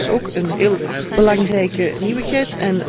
Dat is ook een heel belangrijke nieuwigheid.